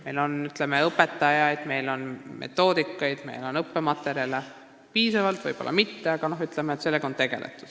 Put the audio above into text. Meil on õpetajaid, meil on metoodikaid, meil on õppematerjale – võib-olla mitte piisavalt, aga sellega on tegeletud.